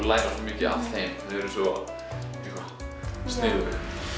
læra svo mikið af þeim þau eru svo sniðug